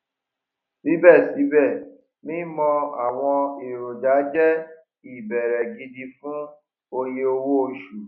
síbẹ síbẹ mímọ àwọn èròjà jẹ ìbẹrẹ gidi fún oyè owó oṣù